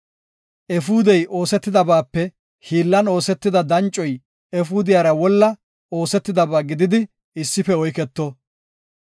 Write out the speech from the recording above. Efuudey oosetidabaape hiillan oosetida dancoy efuudiyara wolla oosetidaba gididi issife oyketo.